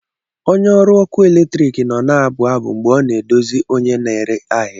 Onye ọrụ ọkụ eletrik nọ na-abụ abụ mgbe ọ na-edozi onye na-ere ahịa.